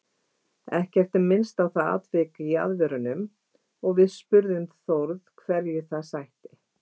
Ekkert er minnst á það atvik í aðvörunum og við spurðum Þóri hverju það sætti?